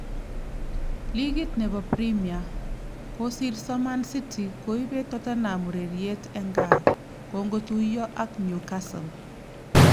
Ligit nebo Premia :kosirso Man city Koibet Tottenham ureriet eng gaa kongotuiyo ak Newcastle